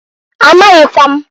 Amaghịkwa m.